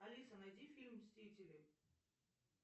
алиса найди фильм мстители